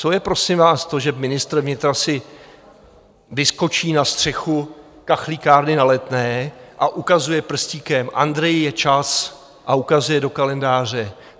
Co je prosím vás to, že ministr vnitra si vyskočí na střechu kachlíkárny na Letné a ukazuje prstíkem, Andreji, je čas, a ukazuje do kalendáře?